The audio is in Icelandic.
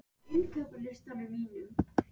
Sjálfur er staðurinn listaverk, kvæði, hljómkviða.